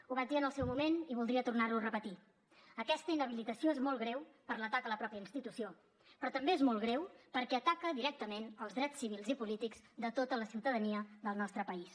ho vaig dir en el seu moment i voldria tornar ho a repetir aquesta inhabilitació és molt greu per l’atac a la mateixa institució però també és molt greu perquè ataca directament els drets civils i polítics de tota la ciutadania del nostre país